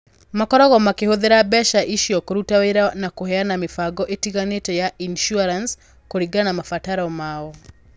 Makoragwo makĩhũthĩra mbeca icio kũruta wĩra na kũheana mĩbango ĩtiganĩte ya insurance kũringana na mabataro mao.